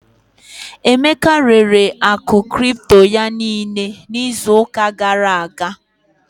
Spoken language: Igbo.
Emeka rere akụ cripto ya niile n'izu ụka gara aga.